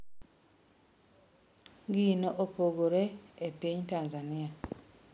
Gino opogore e piny Tanzania.